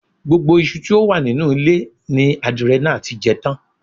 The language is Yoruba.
Gbogbo iṣu tí ó wà nínú ilé ni adìrẹ náà ti jẹ tán